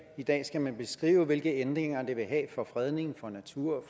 i dag skal man beskrive hvilken betydning ændringerne vil have for fredning for natur